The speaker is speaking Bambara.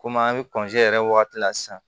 Komi an bɛ yɛrɛ wagati la sisan